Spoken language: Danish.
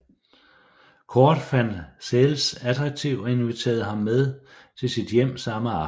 Cordt fandt Sells attraktiv og inviterede ham med til sit hjem samme aften